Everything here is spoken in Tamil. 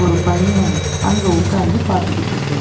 ஒரு பையன் அங்க உக்காந்து பாத்துகிட்டுருக்காரு.